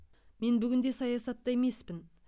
мен бүгінде саясатта емеспін